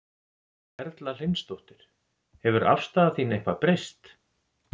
Erla Hlynsdóttir: Hefur afstaða þín eitthvað breyst?